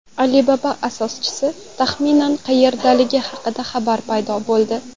Alibaba asoschisi taxminan qayerdaligi haqida xabar paydo bo‘ldi.